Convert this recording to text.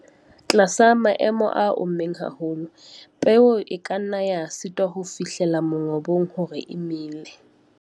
Tlasa maemo a ommeng haholo, peo e ka nna ya sitwa ho fihlella mongobo hore e mele.